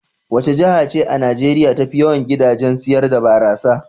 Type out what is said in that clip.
Wace jiha ce a Najeriya tafi yawan gidajen sayar da barasa?